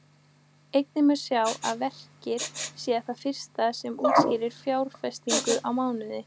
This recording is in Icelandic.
Einnig má segja að verkið sé það fyrsta sem útskýrir fjárfestingar í mannauði.